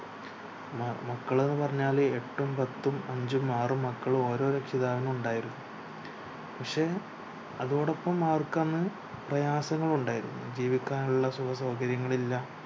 മക്കള് ന്ന് പറഞ്ഞാല് എട്ടും പത്തും അഞ്ചും ആരും മക്കള് ഓരോ രക്ഷിതാവിനും ഉണ്ടായിരുന്നു പഷേ അതോടൊപ്പം അവർക്കന്ന് പ്രയാസങ്ങളുണ്ടായിരുന്നു ജീവിക്കാനുള്ള സുഖസൗകര്യങ്ങളില്ല